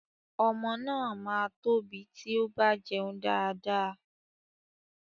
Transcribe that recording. Ọmọ máa tóbi tí ó bá jẹun dáadáa.